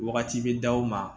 Wagati bɛ d'aw ma